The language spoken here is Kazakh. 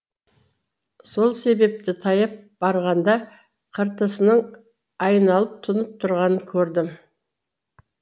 сол себепті таяп барғанда қыртысының айланып тұнып тұрғанын көрдім